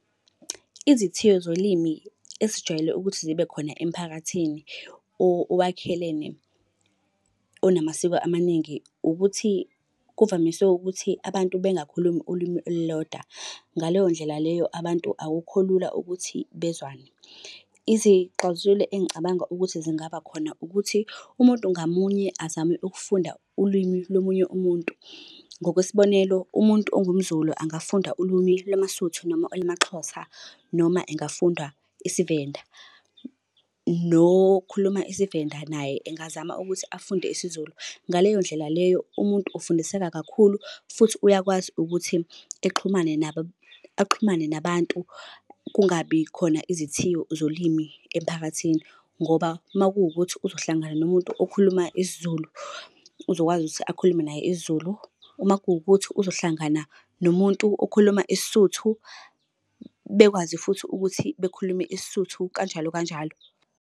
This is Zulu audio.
Izithiyo zolimi esijwayele ukuthi zibe khona emphakathini owakhelene onamasiko amaningi, ukuthi kuvamise ukuthi abantu bengakhulumi ulimi olulodwa, ngaleyo ndlela leyo abantu akukho lula ukuthi bezwane. Izixazululo engicabanga ukuthi zingaba khona ukuthi umuntu ngamunye azame ukufunda ulwimi lo munye umuntu. Ngokwesibonelo, umuntu ongumZulu angafunda ulumi lamaSuthu noma olamaXhosa, noma engafunda isiVenda. Nokhuluma isiVenda naye engazama ukuthi afunde isiZulu. Ngaleyo ndlela leyo umuntu ufundiseka kakhulu futhi uyakwazi ukuthi exhumane nabo, axhumane nabantu, kungabi khona izithiyo zolimi emphakathini, ngoba uma kuwukuthi uzohlangana nomuntu okhuluma isiZulu, uzokwazi ukuthi akhulume naye isiZulu. Uma kuwukuthi uzohlangana nomuntu okhuluma isiSuthu, bekwazi futhi ukuthi bekhulume isiSuthu kanjalo kanjalo.